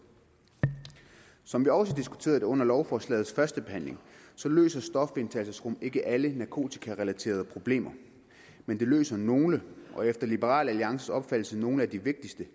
som vi også diskuterede det under lovforslagets førstebehandling løser stofindtagelsesrum ikke alle narkotikarelaterede problemer men det løser nogle og efter liberal alliances opfattelse nogle af de vigtigste